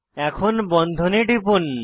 এখন বন্ধনে টিপুন